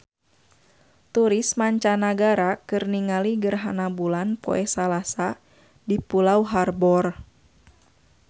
Turis mancanagara keur ningali gerhana bulan poe Salasa di Pulau Harbour